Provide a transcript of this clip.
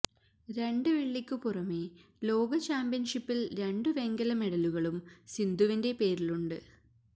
രണ്ട് വെള്ളിക്ക് പുറമെ ലോക ചാമ്പ്യൻഷിപ്പിൽ രണ്ടു വെങ്കല മെഡലുകളും സിന്ധുവിന്റെ പേരിലുണ്ട്